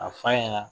A f'a ɲɛna